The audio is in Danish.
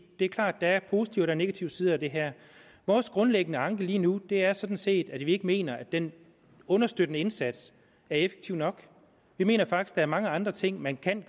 det er klart at der er positive og negative sider af det her vores grundlæggende anke lige nu er sådan set at vi ikke mener at den understøttende indsats er effektiv nok vi mener faktisk der er mange andre ting man kan